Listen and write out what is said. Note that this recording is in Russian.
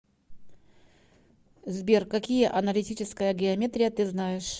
сбер какие аналитическая геометрия ты знаешь